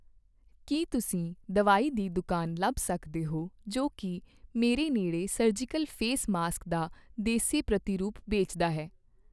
ਕੀ ਤੁਸੀਂ ਦਵਾਈ ਦੀ ਦੁਕਾਨ ਲੱਭ ਸਕਦੇ ਹੋ ਜੋ ਕੀ ਮੇਰੇ ਨੇੜੇ ਸਰਜੀਕਲ ਫੇਸ ਮਾਸਕ ਦਾ ਦੇਸੀ ਪ੍ਰਤੀਰੂਪ ਵੇਚਦਾ ਹੈ?